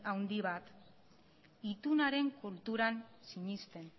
handi bat itunaren kulturan sinesten